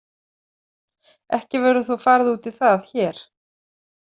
Ekki verður þó farið út í það hér.